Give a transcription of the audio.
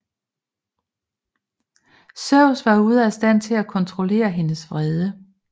Zeus var ude af stand til at kontrollere hendes vrede